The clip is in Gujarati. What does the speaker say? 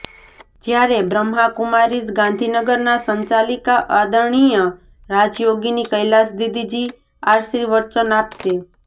જ્યારે બ્રહ્માકુમારીઝ ગાંધીનગર ના સંચાલિકા આદરણિય રાજયોગિની કૈલાશ દીદીજી આશિર્વચન આપશે